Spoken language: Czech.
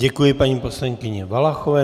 Děkuji paní poslankyni Valachové.